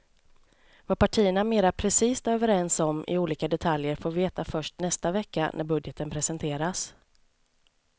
Vad partierna mera precist är överens om i olika detaljer får vi veta först nästa vecka när budgeten presenteras.